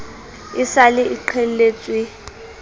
e sa le e qheletswe